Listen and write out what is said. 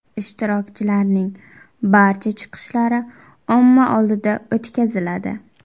Ishtirokchilarning barcha chiqishlari omma oldida o‘tkaziladi.